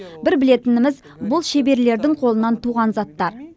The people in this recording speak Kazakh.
бір білетініміз бұл шеберлердің қолынан туған заттар